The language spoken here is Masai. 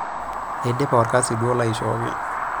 Aidipa olkasi duo laishooki.